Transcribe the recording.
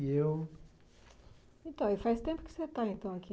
E eu. Então, e faz tempo que você está então aqui.